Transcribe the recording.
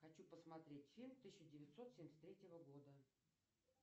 хочу посмотреть фильм тысяча девятьсот семьдесят третьего года